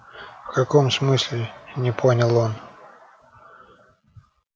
в каком смысле не понял он